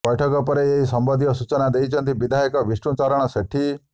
ବ୘ଠକ ପରେ ଏହି ସମ୍ବନ୍ଧୀୟ ସୂଚନା ଦେଇଛନ୍ତି ବିଧାୟକ ବିଷ୍ଣୁଚରଣ ସେଠୀ